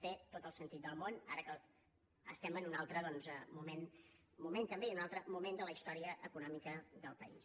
té tot el sentit del món ara que estem en un altre moment també i en un altre moment de la història econòmica del país